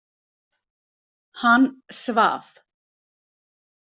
Hann svaf.